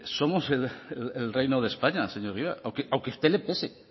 somos el reino de españa señor egibar aunque a usted le pese